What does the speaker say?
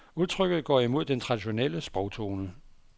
Udtrykket går imod den traditionelle sprogtone.